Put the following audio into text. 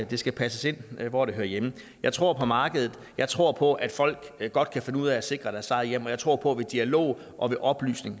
det skal passes ind hvor det hører hjemme jeg tror på markedet jeg tror på at folk godt kan finde ud af at sikre deres eget hjem og jeg tror på ved dialog og ved oplysning